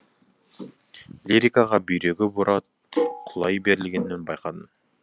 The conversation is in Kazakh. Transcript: лирикаға бүйрегі бұра құлай берілгенін байқадым